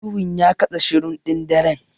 Ihun ya katse shirun ɗin daren.